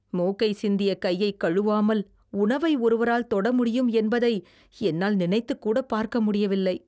மூக்கைச் சிந்திய கையைக் கழுவாமல் உணவை ஒருவரால் தொடமுடியும் என்பதை என்னால் நினைத்துக்கூடப் பார்க்க முடியவில்லை.